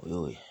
O y'o ye